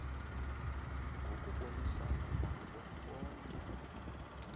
ngokubonisana nabo bonke